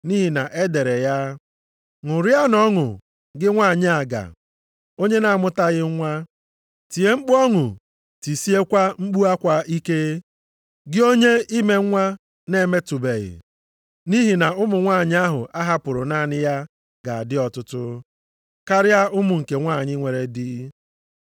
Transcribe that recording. Nʼihi na e dere ya, “Ṅụrịa ọṅụ, gị nwanyị aga, onye na-amụtaghị nwa. Tie mkpu ọṅụ, tisiekwa mkpu akwa ike gị onye ime nwa na-emetụbeghị, nʼihi na ụmụ nwanyị ahụ a hapụrụ naanị ya ga-adị ọtụtụ karịa ụmụ nke nwanyị nwere dị.” + 4:27 \+xt Aịz 54:1\+xt*